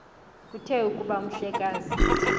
kuthe kuba umhlekazi